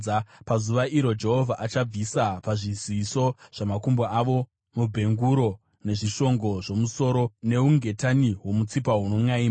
Pazuva iro Jehovha achabvisa pazviziso zvamakumbo avo: mabhenguro, nezvishongo zvomusoro, neungetani hwomutsipa hunonʼaima,